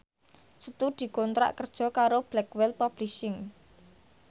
Setu dikontrak kerja karo Blackwell Publishing